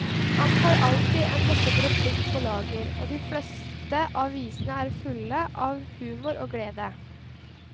Han har alltid en morsom replikk på lager, og de fleste av visene er fulle av humor og glede.